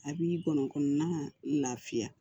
A b'i gɔnɔkɔnɔna lafiya